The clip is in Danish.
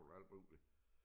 Og alt muligt